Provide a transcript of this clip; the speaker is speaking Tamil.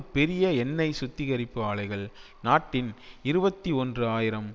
பெரிய எண்ணெய் சுத்திகரிப்பு ஆலைகள் நாட்டின் இருபத்தி ஒன்று ஆயிரம்